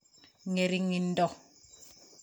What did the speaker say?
Ngeringindo